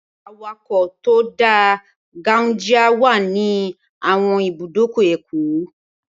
Awakọ̀ tó dá gáunjíá wà ní àwọn ibùdókọ̀ Èkó